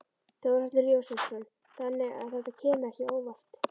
Þórhallur Jósefsson: Þannig að þetta kemur ekki óvart?